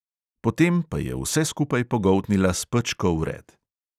Potem pa je vse skupaj pogoltnila s pečko vred.